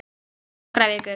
Nokkrar vikur!